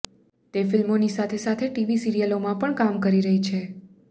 તે ફિલ્મોની સાથે સાથે ટીવી સિરિયલોમાં પણ કામ કરી રહી છે